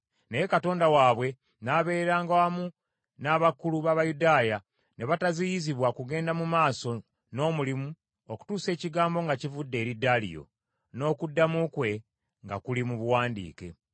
Naye Katonda waabwe n’abeeranga wamu n’abakulu b’Abayudaaya, ne bataziyizibwa kugenda mu maaso n’omulimu okutuusa ekigambo nga kivudde eri Daliyo, n’okuddamu kwe nga kuli mu buwandiike.